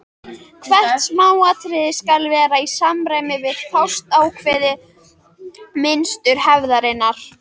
Hvert smáatriði skal vera í samræmi við fastákveðið mynstur hefðarinnar.